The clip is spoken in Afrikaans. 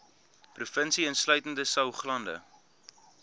provinsie insluitende saoglande